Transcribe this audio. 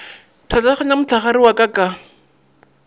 pšhatlaganya mohlagare wa ka ka